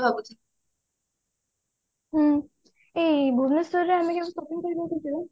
ହଁ ଭୁବନେଶ୍ବର ରେ ଆମେ ଯୋଉ